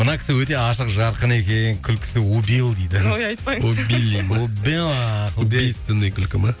мына кісі өте ашық жарқын екен күлкісі убил дейді ой айтпаңыз убили ме убила убийственный күлкі ме